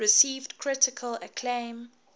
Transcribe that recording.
received critical acclaim